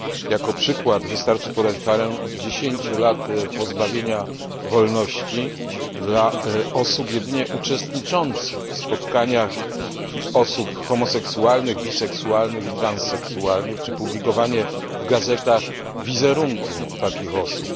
Jako przykład wystarczy podać karę 10 lat pozbawienia wolności wobec osób jedynie uczestniczących w spotkaniach osób homoseksualnych, biseksualnych i transseksualnych, czy publikowanie w gazetach wizerunku takich osób.